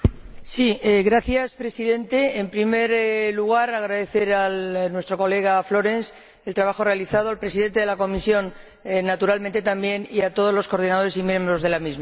Señor Presidente, en primer lugar, agradecer a nuestro colega Florenz el trabajo realizado, al presidente de la comisión, naturalmente también, y a todos los coordinadores y miembros de la misma.